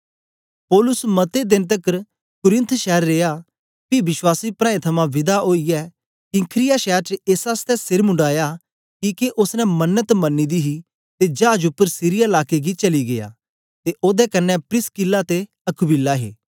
पौलुस मते देन तकर कुरिन्थ शैर रिया पी विश्वासी प्राऐं थमां विदा ओईयै किंख्रिया शैर च एस आसतै सेर मुंडाया किके ओसने मन्नत मनी दी ही ते जाज उपर सीरिया लाके गी चली गीया ते ओदे कन्ने प्रिसकिल्ला ते अक्विला हे